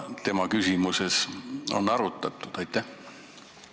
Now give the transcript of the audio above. Kas tema küsimuses on arutatud mingit koostööd Eesti võimudega?